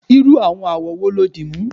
irú àwọn awọ wo lo dimu